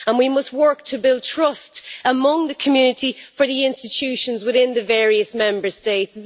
We must work to build trust among the community for the institutions within the various Member States.